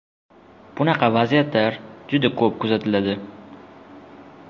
Bunaqa vaziyatlar juda ko‘p kuzatiladi.